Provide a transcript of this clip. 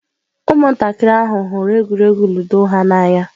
Ụmụntakịrị ahụ hụrụ egwuregwu Ludo ha n'anya.